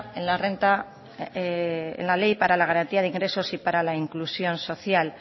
en la ley para la garantía de ingresos y para la inclusión social